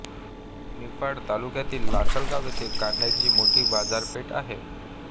निफाड तालुक्यातील लासलगाव येथे कांद्याची मोठी बाजारपेठ आहे